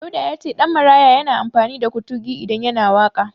Dauda ya ce Ɗanmaraya yana amfani da Kutugi idan yana waƙa.